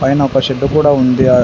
పైన ఒక షెడ్డు కూడా ఉంది. ఆ--